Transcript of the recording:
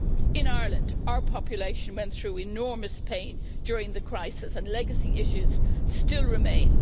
In Ireland, our population went through enormous pain during the crisis, and legacy issues remain.